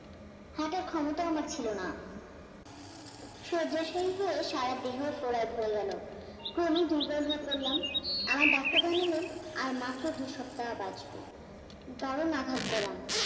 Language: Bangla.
হার্টের ক্ষমতাও আমার ছিলনা, শয্যাশয়ী হয়ে সারা দেহ ফোঁড়ায় ভরে গেল, ক্রমেই দূর্বল হয়ে পড়লাম, আর আমার ডাক্তার জানালেন আর মাত্র দুসপ্তাহ বাঁচব, দারুণ আঘাত পেলাম